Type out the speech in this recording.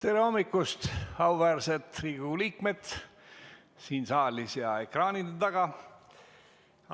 Tere hommikust, auväärsed Riigikogu liikmed siin saalis ja ekraanide taga!